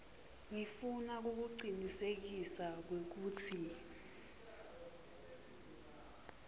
ngifuna kukucinisekisa kwekutsi